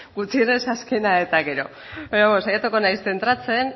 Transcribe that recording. gutxienez azkena eta gero baina bueno saiatuko naiz zentratzen